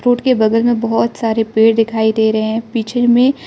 board के बगल मे बहोत सारे पेड़ दिखाई दे रहे हैं पीछे में --